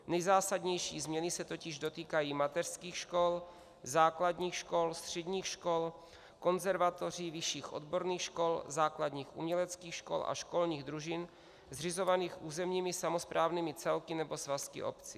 Nejzásadnější změny se totiž dotýkají mateřských škol, základních škol, středních škol, konzervatoří, vyšších odborných škol, základních uměleckých škol a školních družin zřizovaných územními samosprávnými celky nebo svazky obcí.